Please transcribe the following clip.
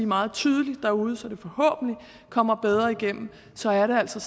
meget tydeligt derude så det forhåbentlig kommer bedre igennem så er det altså